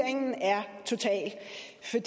ser